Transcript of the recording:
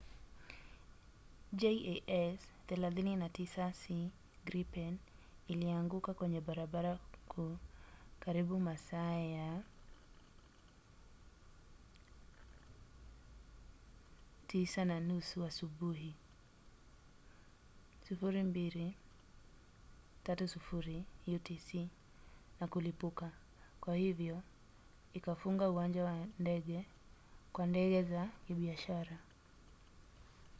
jas 39c gripen ilianguka kwenye barabara kuu karibu masaa ya 9:30 asubuhi 0230 utc na kulipuka kwa hivyo ikafunga uwanja wa ndege kwa ndege za kibiashara